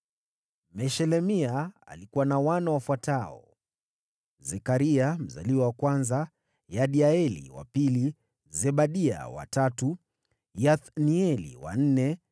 Meshelemia alikuwa na wana wafuatao: Zekaria mzaliwa wa kwanza, Yediaeli wa pili, Zebadia wa tatu, Yathnieli wa nne,